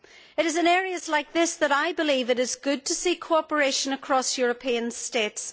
It is in areas like this that I believe it is good to see cooperation across European states.